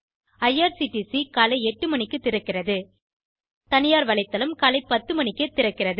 IRCTC காலை 8 மணிக்கு திறக்கிறது தனியார் வலைத்தளம் காலை 10 மணிக்கே திறக்கிறது